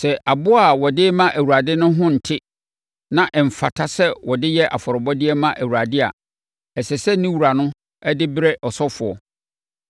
Sɛ aboa a ɔde rema Awurade no ho nte na ɛmfata sɛ wɔde yɛ afɔrebɔdeɛ ma Awurade a, ɛsɛ sɛ ne wura no de brɛ ɔsɔfoɔ.